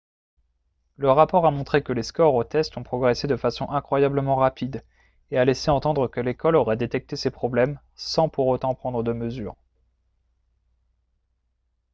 le rapport a montré que les scores aux tests ont progressé de façon incroyablement rapide et a laissé entendre que l'école aurait détecté ces problèmes sans pour autant prendre de mesures